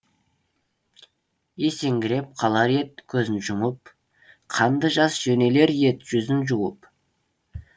есеңгіреп қалар ед көзін жұмып қанды жас жөнелер ед жүзін жуып